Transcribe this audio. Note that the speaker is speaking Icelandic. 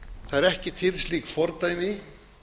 það er ekki til slík fordæmi